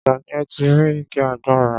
Ọjà ni ẹ́ ti rí igi àgbọn rà.